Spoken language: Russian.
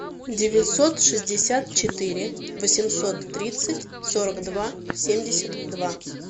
девятьсот шестьдесят четыре восемьсот тридцать сорок два семьдесят два